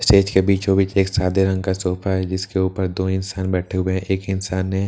state के बीचों बीच एक सादे रंग का सोफा है जिसके ऊपर दो इंसान बैठे हुए एक इंसान ने--